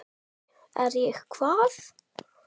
SKÚLI: Er ég hvað?